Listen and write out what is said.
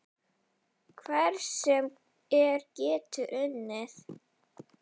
Hver sem er getur unnið.